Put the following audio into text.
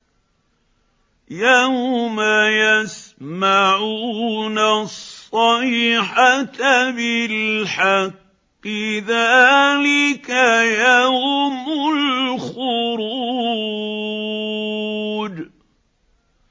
يَوْمَ يَسْمَعُونَ الصَّيْحَةَ بِالْحَقِّ ۚ ذَٰلِكَ يَوْمُ الْخُرُوجِ